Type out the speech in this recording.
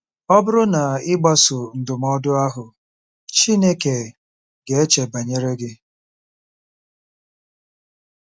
Ọ bụrụ na ị gbasoo ndụmọdụ ahụ, Chineke ga-eche banyere gị.